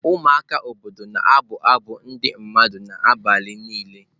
Ụmụaka obodo na-abụ abụ ndị mmadụ n'abalị niile.